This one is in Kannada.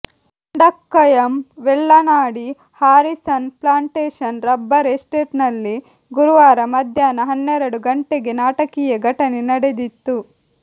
Mundakkayam Vellanadi Harrison plantation rubber ಎಸ್ಟೇಟ್ನಲ್ಲಿ ಗುರುವಾರ ಮಧ್ಯಾಹ್ನ ಹನ್ನೆರಡು ಗಂಟೆಗೆ ನಾಟಕೀಯ ಘಟನೆ ನಡೆದಿತ್ತು